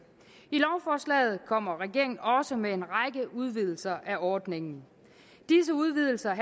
i lovforslaget kommer regeringen også med en række udvidelser af ordningen disse udvidelser